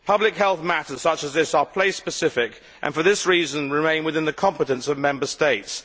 Public health matters such as this are place specific, and for this reason remain within the competence of Member States.